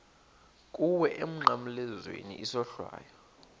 kuwe emnqamlezweni isohlwayo